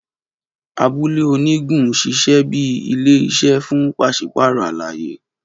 Abule onigun ṣiṣẹ bi ile-iṣẹ fun paṣipaarọ alaye.